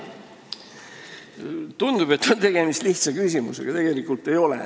Tundub, et tegemist on lihtsa küsimusega, aga tegelikult ei ole.